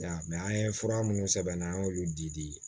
an ye fura minnu sɛbɛn n'an y'olu di